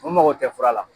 U mago tɛ fura la